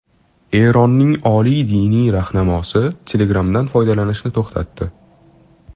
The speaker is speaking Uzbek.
Eronning oliy diniy rahnamosi Telegram’dan foydalanishni to‘xtatdi.